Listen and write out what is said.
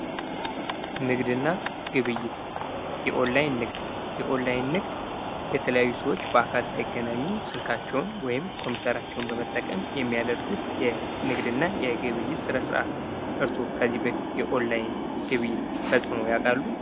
ንግድ እና ግብይት የኦላይን ንግድ:-የኦላይን ንግድ የተለያዩ ሰዎች በአካል ሳይገናኙ ስልካቸውን ወይም ኮምፒተራቸውን በመጠቀም የሚያደርጉት የንግድ እና ግብይት ስነ-ስርዓት ነው። እርሶ ከዚህ በፊት የኦላይን ግብይት ፈፅመው ያውቃሉ?